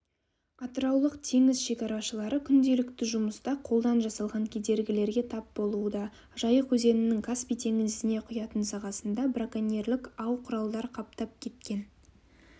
атыраулық теңіз шекарашылары күнделікті жұмыста қолдан жасалған кедергілерге тап болуда жайық өзенінің каспий теңізіне құятын сағасында броконьерлік ау-құралдар қаптап кеткен